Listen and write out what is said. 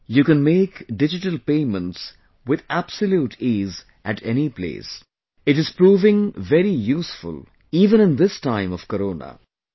Today, you can make digital payments with absolute ease at any place; it is proving very useful even in this time of Corona